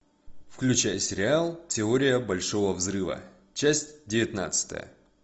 включай сериал теория большого взрыва часть девятнадцатая